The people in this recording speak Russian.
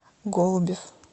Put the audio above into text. голубев